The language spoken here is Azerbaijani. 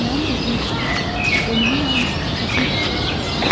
Mənim dediyim odur ki, ölümü yalnız həkim təsdiq eləyə bilər.